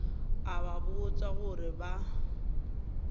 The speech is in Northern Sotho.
a ba botša gore ba